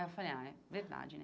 Aí eu falei, ah, é verdade, né?